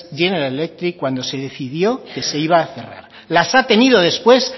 general electric cuando se decidió que se iba a cerrar las ha tenido después